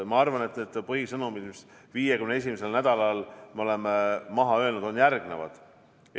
Ma arvan, et põhisõnumid 51. nädalal, mis me oleme maha öelnud, on järgmised.